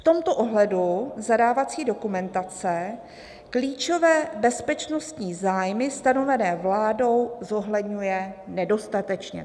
V tomto ohledu zadávací dokumentace klíčové bezpečnostní zájmy stanovené vládou zohledňuje nedostatečně."